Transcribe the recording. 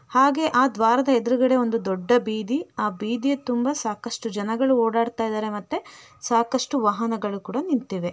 ಹಾಗೆ ಆ ದ್ವಾರದ ಎದುರ್ಗಡೆ ಒಂದು ದೊಡ್ಡ ಬೀದಿ ಆ ಬೀದಿಯ ತುಂಬಾ ಸಾಕಷ್ಟು ಜನಗಳು ಓಡಾಡ್ತಾ ಇದಾರೆ ಮತ್ತೆ ಸಾಕಷ್ಟು ವಾಹನಗಳು ಕೂಡ ನಿಂತಿವೆ.